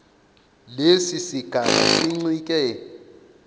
lesi sigaba sincike